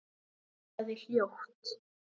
Það er hljótt.